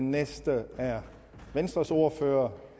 næste er venstres ordfører